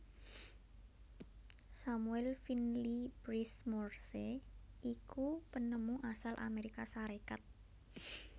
Samuel Finley Breese Morse iku penemu asal Amérika Sarékat